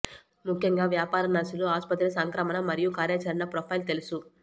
ముఖ్యంగా వ్యాపార నర్సులు ఆసుపత్రి సంక్రమణ మరియు కార్యాచరణ ప్రొఫైల్ తెలుసు